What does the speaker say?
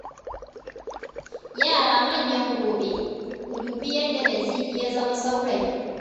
Yara manyan gobe. Ku dubi yadda Nazifi ya zama saurayi.